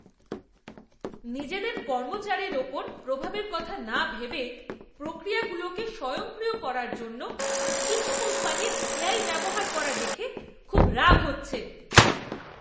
নিজেদের কর্মচারীর উপর প্রভাবের কথা না ভেবে প্রক্রিয়াগুলোকে স্বয়ংক্রিয় করার জন্য কিছু কোম্পানির এআই ব্যবহার করা দেখে খুব রাগ হচ্ছে।